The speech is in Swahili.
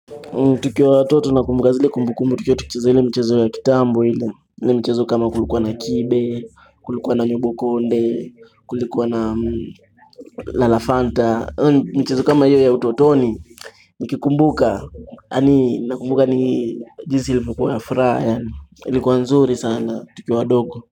Tukiwa watoto na kumbuka zile kumbu kumbu, tukiwa tunacheza ile michezo ya kitambo hile, michezo kama kulikuwa na kibe, kulikuwa na nyobokonde, kulikuwa na lalafanta, michezo kama hiyo ya utotoni, nikikumbuka, na kumbuka ni jinsi ilivyokuwa na furaha, ilikuwa nzuri sana, tukiwa wadogo.